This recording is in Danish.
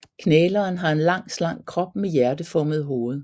Knæleren har en lang slank krop med hjerteformet hoved